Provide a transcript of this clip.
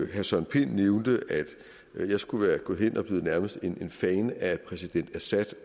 herre søren pind nævnte at jeg skulle være gået hen og nærmest blevet en fan af præsident assad